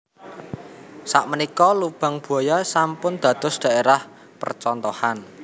Sak menika Lubang Buaya sampun dados daerah percontohan